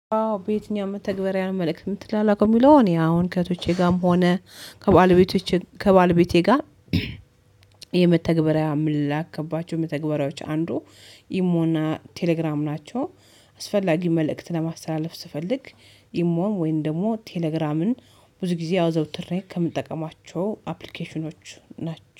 አዎ በየትኛው መተግባርያ ነው መልእክት ምን ትላላችሁ የሚለው? እኔ አሁን ከእህቶቼ ጋርም ሆነ ከባለቤቶቼ ከባለቤቴ ጋር የመተግበሪያ ምላክ ከባቸው የመተግበሪያዎቹ አንዱ ኢሞና ቴሌግራም ናቸው። አስፈላጊ መልእክት ለማስተላለፍ ስፈልግ ኢሞን ወይን ደግሞ ቴሌግራምን ብዙ ጊዜ አውዘውትሪክ ከምንጠቀማቸው አፕሊኬሽኖች ናቸው